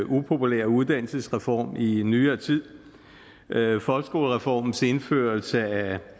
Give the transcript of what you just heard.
upopulære uddannelsesreform i i nyere tid folkeskolereformens indførelse af